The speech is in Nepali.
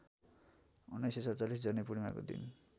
१९४७ जनैपूर्णिमाको दिन